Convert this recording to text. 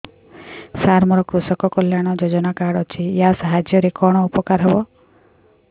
ସାର ମୋର କୃଷକ କଲ୍ୟାଣ ଯୋଜନା କାର୍ଡ ଅଛି ୟା ସାହାଯ୍ୟ ରେ କଣ ଉପକାର ହେବ